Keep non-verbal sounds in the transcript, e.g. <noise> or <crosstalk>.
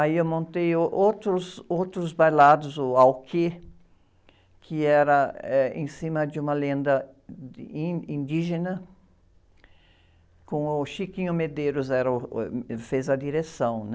Aí eu montei ôh, outros bailados, o, <unintelligible> que era, eh, em cima de uma lenda, <unintelligible> indígena, com o Chiquinho Medeiros, era o, <unintelligible> fez a direção, né?